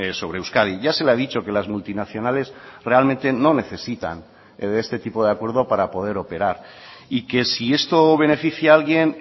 sobre euskadi ya se le ha dicho que las multinacionales realmente no necesitan de este tipo de acuerdo para poder operar y que si esto beneficia a alguien